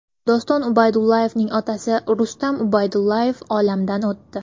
Doston Ubaydullayevning otasi Rustam Ubaydullayev olamdan o‘tdi.